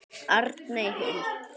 Arney Huld.